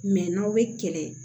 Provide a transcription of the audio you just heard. n'aw bɛ kɛlɛ